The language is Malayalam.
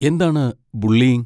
എന്താണ് ബുള്ളിയിങ്?